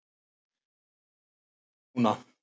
Þú ert nýr maður núna.